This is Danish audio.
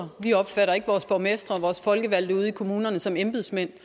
vi opfatter ikke vores borgmestre og vores folkevalgte ude i kommunerne som embedsmænd